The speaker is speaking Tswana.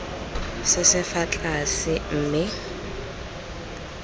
se se fa tlase mme